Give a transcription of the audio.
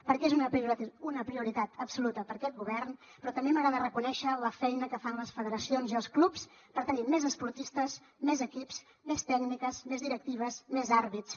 perquè és una prioritat absoluta per a aquest govern però també m’agrada reconèixer la feina que fan les federacions i els clubs per tenir més esportistes més equips més tècniques més directives més àrbitres